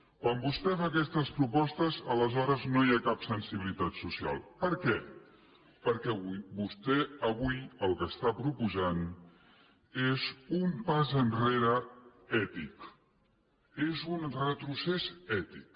quan vostè fa aquestes propostes aleshores no hi ha cap sensibilitat social per què perquè vostè avui el que està proposant és un pas enrere ètic és un retrocés ètic